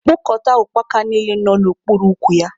Kpokọta ukpaka niile nọ n'okpuru ukwu ya!